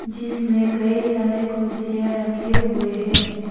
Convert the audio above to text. जिसमें कई सारी कुर्सियाँ रखे हुए है।